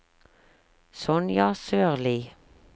Sonja Sørli